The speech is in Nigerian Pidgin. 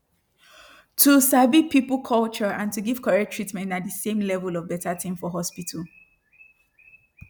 to sabi people culture and to give correct treatment na de same level of beta tin for hospital